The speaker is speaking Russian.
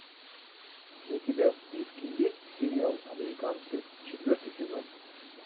у тебя в списке есть сериал американцы четвертый сезон